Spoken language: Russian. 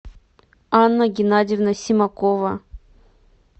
анна геннадьевна семакова